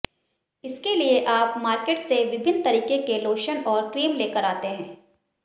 इसके लिए आप मार्केट से विभिन्न तरीके के लोशन और क्रीम लेकर आते है